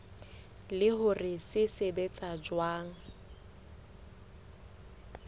le hore se sebetsa jwang